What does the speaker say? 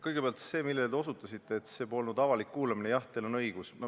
Kõigepealt sellest, millele te osutasite, kui ütlesite, et see polnud avalik kuulamine – jah, teil on õigus.